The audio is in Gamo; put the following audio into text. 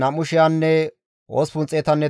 Azgaade zereththati 1,222,